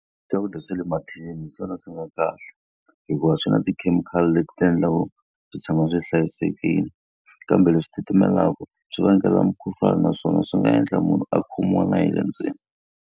Swakudya swa le mathinini hi swona swi nga kahle. Hikuva swi na tikhemikhali leti ti endlaku swi tshama swi hlayisekile, kambe leswi titimelaka swi vangela mukhuhlwana naswona swi nga endla munhu a khomiwa na hi le ndzeni.